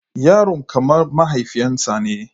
Yaron kamar mahaifinsa ne.